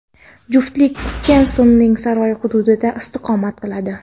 Juftlik Kensington saroyi hududida istiqomat qiladi.